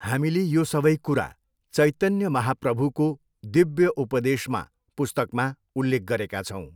हामीले यो सबै कुरा चैतन्य महाप्रभुको दिव्यउपदेशमा पुस्तकमा उल्लेख गरेका छौँ।